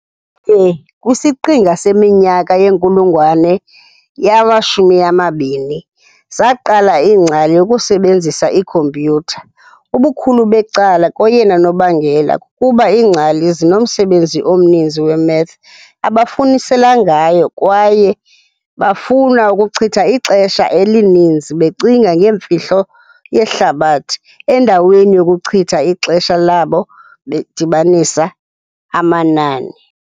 ye kwisiqinga seminyaka yenkulungwane yama-20, zaqala iingcali ukusebenzisa iikhompyutha, ubukhulu becala koyena nobangela kukuba iingcali zinomsebenzi omninzi we-math abafunisela ngayo kwaye bafuna ukuchitha ixesha elininzi becinga ngeemfihlo yehlabathi endaweni yokuchitha ixesha labo bedibanisa amanani.